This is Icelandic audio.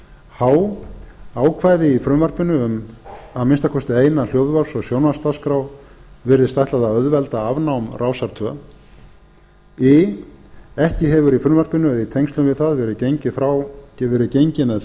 h ákvæði í frumvarpinu um að minnsta kosti eina hljóðvarps og sjónvarpsdagskrá virðist ætlað að auðvelda afnám rásar tvö i ekki hefur í frumvarpinu eða í tengslum við það verið gengið með